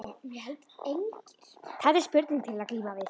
Þarna er spurning til að glíma við.